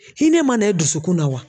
Hinɛ man na e dusukun na wa?